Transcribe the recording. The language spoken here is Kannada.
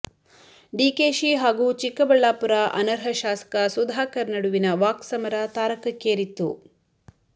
ಡಿಕೆಶಿ ಹಾಗೂ ಚಿಕ್ಕಬಳ್ಳಾಪುರ ಅನರ್ಹ ಶಾಸಕ ಸುಧಾಕರ್ ನಡುವಿನ ವಾಕ್ಸಮರ ತಾರಕಕ್ಕೇರಿತ್ತು